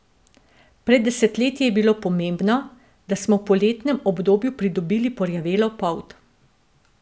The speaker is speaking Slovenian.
Pred desetletji je bilo pomembno, da smo v poletnem obdobju pridobili porjavelo polt.